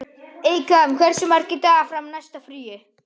Eykam, hversu margir dagar fram að næsta fríi?